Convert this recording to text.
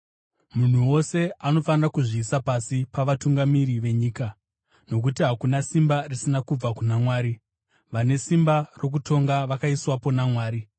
Munhu wose anofanira kuzviisa pasi pavatungamiri venyika, nokuti hakuna simba risina kubva kuna Mwari. Vane simba rokutonga vakaiswapo naMwari.